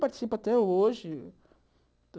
Participo até hoje.